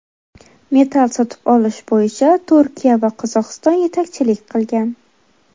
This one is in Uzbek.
Metall sotib olish bo‘yicha Turkiya va Qozog‘iston yetakchilik qilgan.